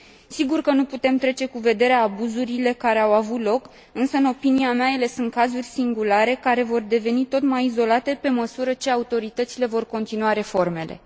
Sigur că nu putem trece cu vederea abuzurile care au avut loc, însă în opinia mea ele sunt cazuri singulare, care vor deveni tot mai izolate pe măsură ce autoritățile vor continua reformele.